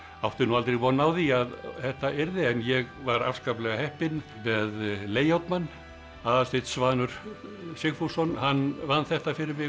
átti nú aldrei von á því að þetta yrði en ég var afskaplega heppinn með layout mann Aðalsteinn Svanur Sigfússon hann vann þetta fyrir mig